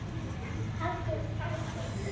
Halldór Pálsson